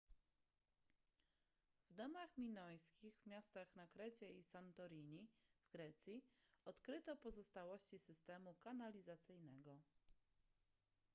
w domach w minojskich miastach na krecie i santorini w grecji odkryto pozostałości systemu kanalizacyjnego